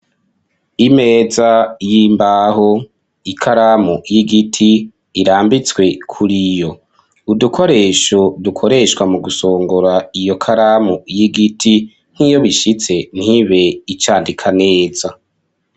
Imeza y'imbaho, ikaramu y'igiti irambitswe kuriyo. Udukoresho dukoreshwa mu gusongora iyo karamu y'igiti nk'iyo bishitse ntibe icandika neza;